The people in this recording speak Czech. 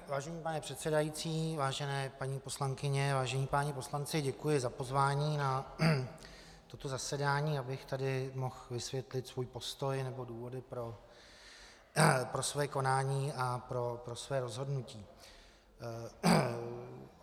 Vážený pane předsedající, vážené paní poslankyně, vážení páni poslanci, děkuji za pozvání na toto zasedání, abych tady mohl vysvětlit svůj postoj nebo důvody pro své konání a pro své rozhodnutí.